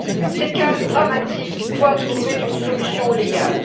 Ces cas dramatiques doivent trouver une solution légale.